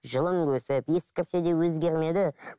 жылың өсіп ескірсе де өзгермеді